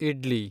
idli